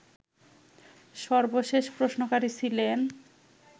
সর্বশেষ প্রশ্নকারী ছিলেন